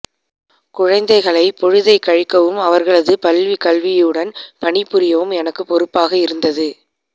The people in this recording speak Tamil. குழந்தைகளைப் பொழுதைக் கழிக்கவும் அவர்களது பள்ளிக்கல்வினுடன் பணிபுரியவும் எனக்குப் பொறுப்பாக இருந்தது